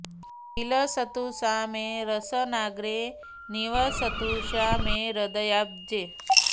विलसतु सा मे रसनाग्रे निवसतु सा मे हृदयाब्जे